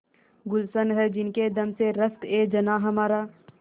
गुल्शन है जिनके दम से रश्कएजनाँ हमारा